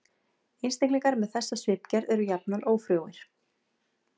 Einstaklingar með þessa svipgerð eru jafnan ófrjóir.